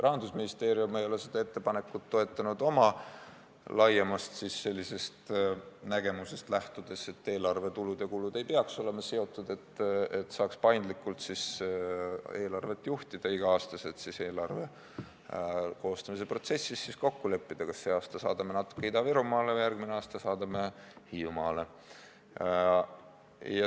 Rahandusministeerium ei ole seda ettepanekut toetanud oma laiemast nägemusest lähtudes, et eelarve tulud ja kulud ei peaks olema seotud, selleks et saaks paindlikult eelarvet juhtida ja iga aasta eelarve koostamise protsessis kokku leppida, kas see aasta saadame natuke Ida-Virumaale ja kas järgmine aasta saadame Hiiumaale.